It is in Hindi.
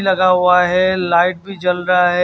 लगा हुआ है लाइट भी जल रहा है।